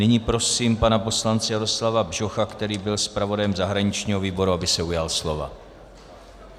Nyní prosím pana poslance Jaroslava Bžocha, který byl zpravodajem zahraničního výboru, aby se ujal slova.